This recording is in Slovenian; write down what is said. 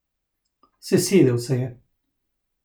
Sesedel se je.